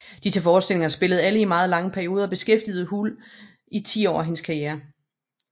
Disse forestillinger spillede alle i meget lange perioder og beskæftigede Hull i ti år hendes karriere